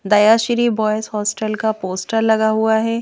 दया Shri boys hostel का poster लगा हुआ है।